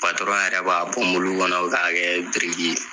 yɛrɛ b'a bɔ mulu kɔnɔ k'a kɛ biriki ye.